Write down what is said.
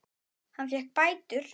Hann fékk bætur.